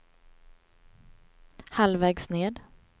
halvvägs ned